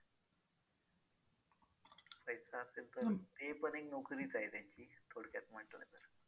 पैसा असेल तर ती पण एक नोकरीच आहे त्यांची थोडक्यात म्हंटल तर